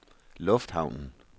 lufthavnen